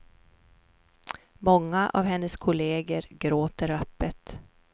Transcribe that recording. Många av hennes kolleger gråter öppet.